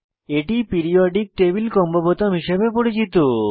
এটি periodic table combo বোতাম হিসাবে পরিচিত